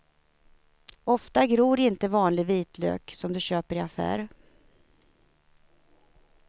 Ofta gror inte vanlig vitlök som du köper i affär.